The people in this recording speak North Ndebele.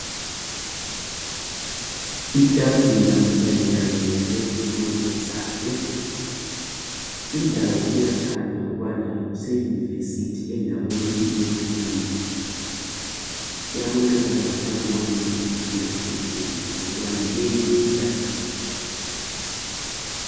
Itafula kanye kanye lezitulo zayo, indawo iyakhanya ukubana kuse university endaweni yemfundo. Kuyabonakala langa ma windi langama khetheni ukubana leyi yi classroom.